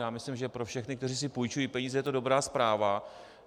Já myslím, že pro všechny, kteří si půjčují peníze, je to dobrá zpráva.